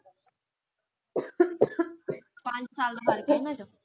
ਪੰਜ ਸਾਲ ਦਾ ਫਰਕ ਇਨ੍ਹਾਂ ਵਿਚ